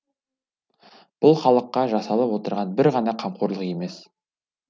бұл халыққа жасалып отырған бір ғана қамқорлық емес